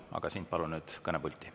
Aga sind palun nüüd kõnepulti.